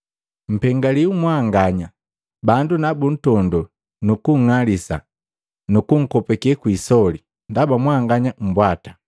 Mpengaliwi mwanganya bandu na buntondoo, nunkung'alisa nu kunkopake kwi isoli, ndaba mwanganya mbwata,